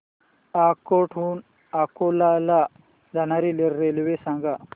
अकोट हून अकोला ला जाणारी रेल्वे सांग